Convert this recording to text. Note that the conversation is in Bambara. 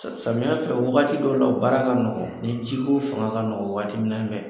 Samiɲɛ fɛ waati dɔ la o baara ka nɔgɔ ni ji ko fanga ka nɔgɔ waati min fɛ